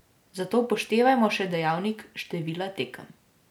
Zato upoštevajmo še dejavnik števila tekem.